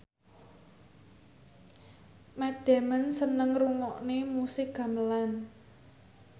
Matt Damon seneng ngrungokne musik gamelan